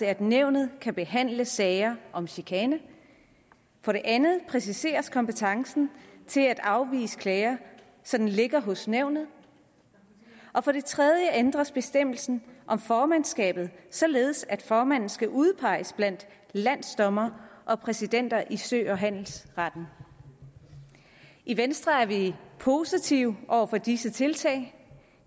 at nævnet kan behandle sager om chikane for det andet præciseres kompetencen til at afvise klager som ligger hos nævnet og for det tredje ændres bestemmelsen om formandskabet således at formanden skal udpeges blandt landsdommere og præsidenter i sø og handelsretten i venstre er vi positivt over for de tiltag